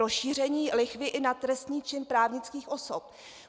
Rozšíření lichvy i na trestný čin právnických osob.